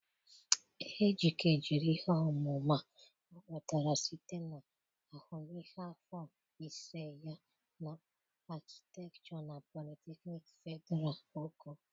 Ejike jiri ihe ọmụma ọ nwetara site na ahụmịhe afọ ise ya na Akịtekchọ na Politeknịk Fedịral Oko.